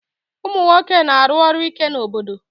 Ụmụ nwoke na-aru ọrụ ike n'obodo